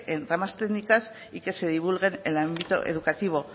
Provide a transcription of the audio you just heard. en ramas técnicas y que se divulguen en el ámbito educativo